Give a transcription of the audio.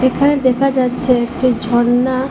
এখানে দেখা যাচ্ছে একটি ঝর্ণা।